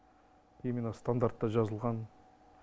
именно стандартта жазылған